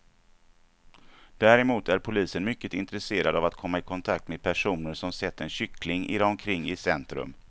Däremot är polisen mycket intresserad av att komma i kontakt med personer som sett en kyckling irra omkring i centrum.